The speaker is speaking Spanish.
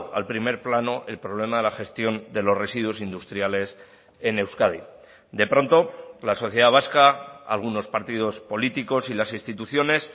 al primer plano el problema de la gestión de los residuos industriales en euskadi de pronto la sociedad vasca algunos partidos políticos y las instituciones